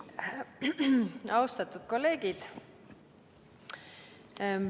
Austatud kolleegid!